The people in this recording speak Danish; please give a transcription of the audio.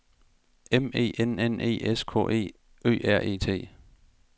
M E N N E S K E Ø R E T